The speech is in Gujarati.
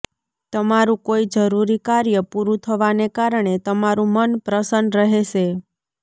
તમારું કોઈ જરૂરી કાર્ય પૂરું થવાને કારણે તમારું મન પ્રસન્ન રહેશે